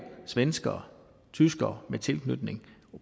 svenskere tyskere med tilknytning